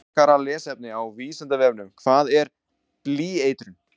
Frekara lesefni á Vísindavefnum Hvað er blýeitrun?